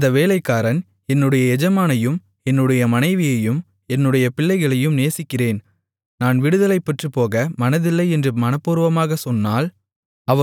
அந்த வேலைக்காரன் என்னுடைய எஜமானையும் என்னுடைய மனைவியையும் என்னுடைய பிள்ளைகளையும் நேசிக்கிறேன் நான் விடுதலை பெற்றுப்போக மனதில்லை என்று மனப்பூர்வமாகச் சொன்னால்